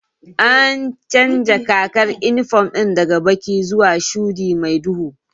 An canja kakar inifom ɗin daga baƙi zuwa shuɗi mai duhu